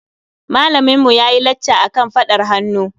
Malaminmu ya yi lacca akan faɗar hannu.